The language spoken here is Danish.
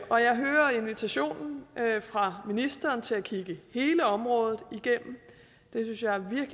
og jeg hører invitationen fra ministeren til at kigge hele området igennem